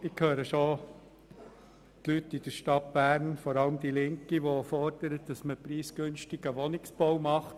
Ich höre bereits die Leute in der Stadt Bern, vor allem seitens der Linken, die preisgünstigen Wohnungsbau fordern.